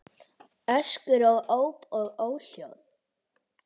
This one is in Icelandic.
Öskur og óp og óhljóð.